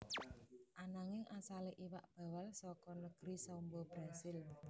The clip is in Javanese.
Ananging asalé iwak bawal saka negri Samba Brazil